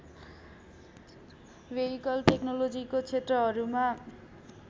vehicle टेक्नोलोजीको क्षेत्रहरूमा